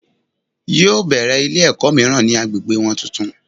Yóò bèrè Ilé èkó míràn ni agbègbè won tuntun